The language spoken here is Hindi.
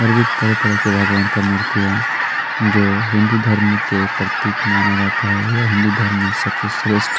और भी तरह की तरह के भगवान का मूर्ति है जो हिंदू धर्म के प्रतीक माना जाता है यह हिंदू धर्म में सबसे श्रेष्ठ --